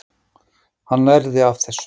Hann lærði af þessu.